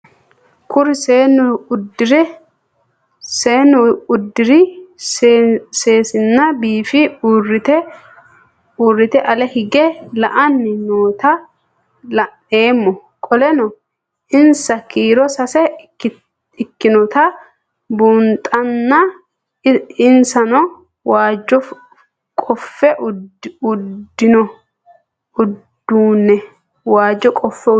Kuri seenu udire sesena biife urite ale hige la'ani noota la'nemo qoleno insa kiiro sase ikinotana bunxana insano waajo qofe udune